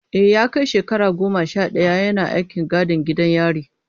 E, ya kai shekara goma sha daya yana aikin gadin gidan yari.